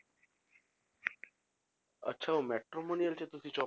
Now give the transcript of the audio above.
ਅੱਛਾ ਉਹ matrimonial ਵਾਲੇ 'ਚ ਤੁਸੀ job